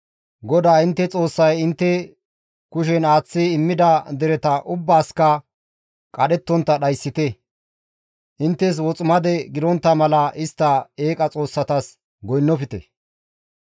GODAA intte Xoossay intte kushen aaththi immida dereta ubbaasikka qadhettontta dhayssite; inttes woximade gidontta mala istta eeqa xoossatas goynnofte.